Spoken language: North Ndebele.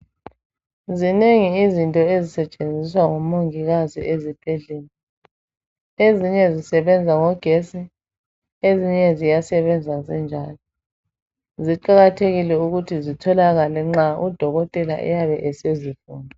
Zinengi izinto ezisetshenziswa ngomongikazi ezibhedlela ezinye zisebenza ngegetsi ezinye ziyasebenza zinjalo kuqakathekile ukuthi zitholakale nxa udokotela esezifuna